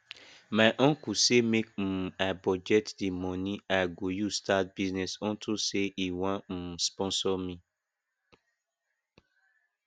my uncle say make um i budget the money i go use start business unto say e wan um sponsor me